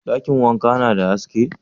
Dakin wankan na da haske?